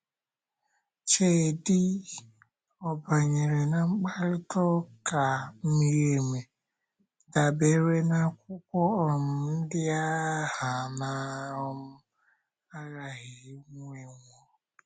Cheedị, ọ banyere na mkparịta ụka miri emi dabeere n’akwụkwọ um ndi a ha na - um aghaghị inwewo?.